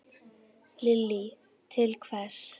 Lillý: Til hvers?